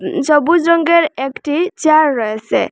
সবুজ রঙ্গের একটি চেয়ার রয়েসে।